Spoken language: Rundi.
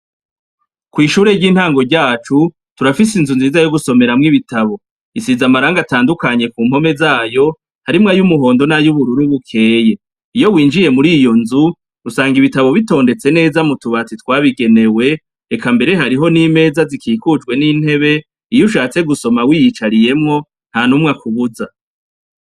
Kw'ishure ry'intango ryacu turafise inzu nziza yo gusomeramwo ibitabo isiza amaranga atandukanye ku mpome zayo harimwo ayo umuhondo n'ayo ubururu, bukeye iyo winjiye muri iyo nzu rusanga ibitabo bitondetse neza mu tubatsi twabigenewe reka mbere hariho n'imeza zikikujwe n'intebe iyo ushatse gusoma w'iyicarie yemwo na numwe akubuza.